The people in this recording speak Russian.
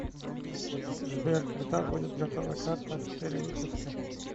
сбер когда будет готова карта с перевыпуска